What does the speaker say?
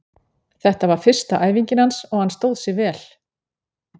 Þetta var fyrsta æfingin hans og hann stóð sig vel.